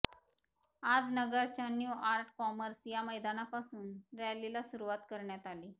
आज नगरच्या new art commerce या मैदानापासून रॅलीला सुरुवात करण्या आली